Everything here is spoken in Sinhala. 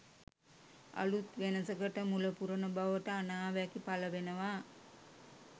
අලුත් වෙනසකට මුල පුරන බවට අනාවැකි පළ වෙනවා.